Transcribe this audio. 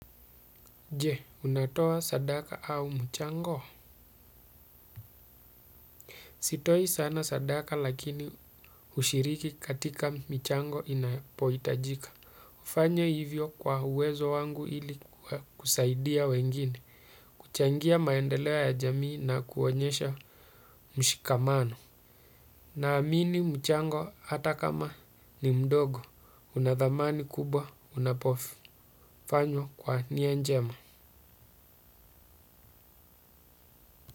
Je unatoa sadaka au mchango sitoi sana sadaka lakini ushiriki katika michango inapoitajika hufanya hivyo kwa uwezo wangu ili kusaidia wengine kuchangia maendeleo ya jamii na kuonyesha mshikamano naamini mchango hata kama ni mdogo unathamani kubwa unapofanywa kwa nia njema.